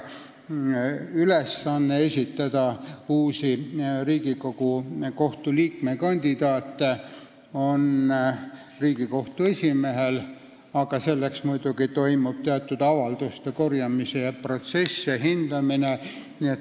Ülesanne esitada Riigikohtu liikme kandaate on Riigikohtu esimehel, aga selleks toimub muidugi avalduste korjamise protsess ja kandidaatide hindamine.